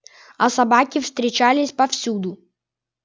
а собаки встречались повсюду